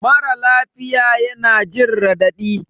Mara lafiya yana jin raɗadi